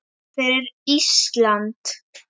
Fyrir Ísland!